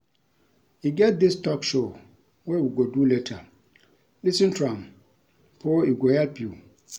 E get dis talk show wey we go do later, lis ten to am for e go help you